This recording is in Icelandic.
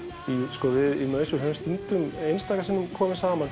sko við í maus höfum einstaka sinnum komið saman